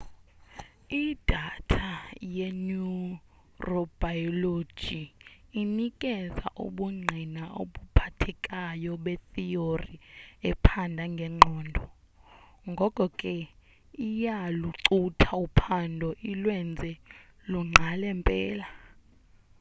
idatha yeneurobilogy inikeza ubundgqina obuphathekayo betheory ephanda ngengqondo ngoko ke iyalucutha uphando ilwenze lungqale mpela